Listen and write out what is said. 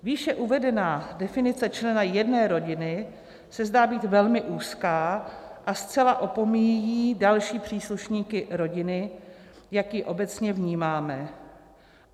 Výše uvedená definice člena jedné rodiny se zdá být velmi úzká a zcela opomíjí další příslušníky rodiny, jak ji obecně vnímáme.